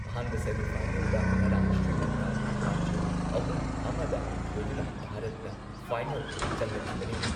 ꯑꯍꯥꯟꯕ ꯁꯦꯃꯤ ꯐꯥꯏꯅꯦꯜꯗ ꯉꯔꯥꯡ ꯁ꯭ꯔꯤꯂꯪꯀꯥꯕꯨ ꯄꯥꯟꯖꯤꯜ ꯑꯍꯨꯝ ꯑꯃꯗ ꯊꯣꯏꯗꯨꯅ ꯚꯥꯔꯠꯅ ꯐꯥꯏꯅꯦꯜ ꯆꯪꯂꯛꯈꯤꯕꯅꯤ꯫